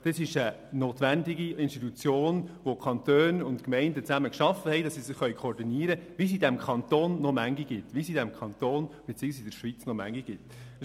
Die SKOS ist eine notwendige Institution, die von den Kantonen und den Gemeinden gemeinsam geschaffen wurde, damit sie sich koordinieren können, und solche Institutionen gibt es in diesem Kanton beziehungsweise in der Schweiz noch viele.